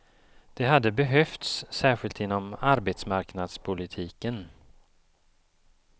Det hade behövts, särskilt inom arbetsmarknadspolitiken.